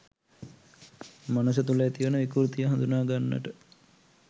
මනස තුළ ඇතිවෙන විකෘතිය හඳුනා ගන්නට